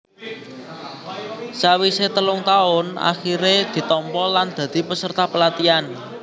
Sawisé telung taun akhiré ditampa lan dadi peserta pelatihan